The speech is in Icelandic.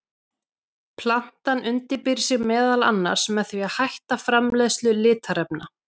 Plantan undirbýr sig meðal annars með því að hætta framleiðslu litarefna.